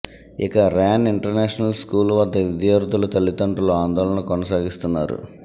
ఇక Ryan international school వద్ద విద్యార్థుల తల్లితండ్రులు ఆందోళన కొనసాగిస్తున్నారు